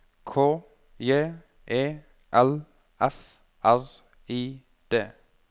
K J E L F R I D